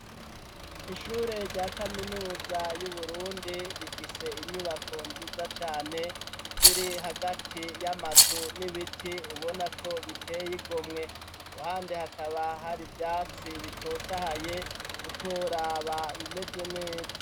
Ishure rya kaminuza y'Uburundi rifise inyubako nziza cane ziri hagati y'amazu n'ibiti ubonako bitey'igomwe, iruhande hakaba har'ivyatsi bitotahaye utoraba bimeze neza.